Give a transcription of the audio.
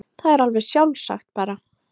Það er alveg sjálfsagt bara.